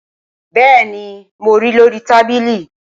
bẹ́ẹ̀ni, mo ri lórí i tábìlì